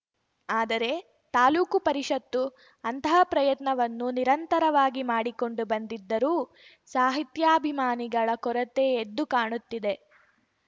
ಆದರೆ ತಾಲೂಕು ಪರಿಷತ್ತು ಅಂತಹ ಪ್ರಯತ್ನವನ್ನು ನಿರಂತರವಾಗಿ ಮಾಡಿಕೊಂಡು ಬಂದಿದ್ದರೂ ಸಾಹಿತ್ಯಾಭಿಮಾನಿಗಳ ಕೊರತೆ ಎದ್ದು ಕಾಣುತ್ತಿದೆ